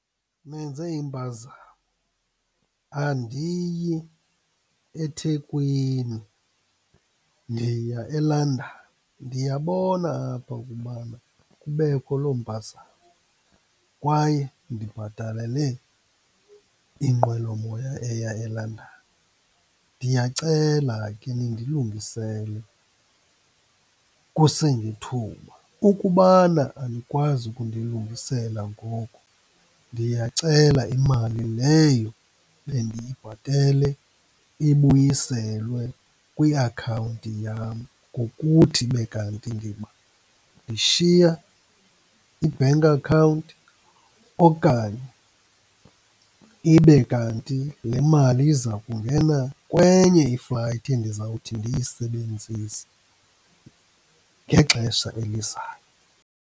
Nenze impazamo, andiyi eThekwini, ndiya eLondon. Ndiyabona apha ukubana kubekho loo mpazamo, kwaye ndibhatalele inqwelomoya eya eLondon. Ndiyacela ke nindilungisele kusengethuba. Ukubana anikwazi ukundilungisela ngoku, ndiyacela imali leyo bendiyibhatele ibuyiselwe kwiakhawunti yam ngokuthi ndibe kanti ndishiya i-bank account okanye ibe kanti le mali iza kungena kwenye i-flight endiza kuthi ndiyisebenzise ngexesha elizayo.